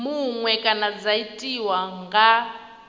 muṅwe kana dza tiwa nga